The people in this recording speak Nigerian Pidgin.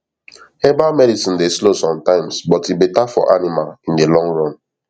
herbal medicine dey slow sometimes but e better for animal in the long run